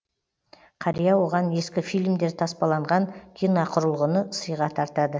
қария оған ескі фильмдер таспаланған киноқұрылғыны сыйға тартады